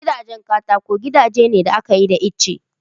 Gidajen katako gidaje ne da aka yi da itace